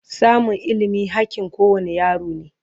samun ilimi hakkin kowane yaro ne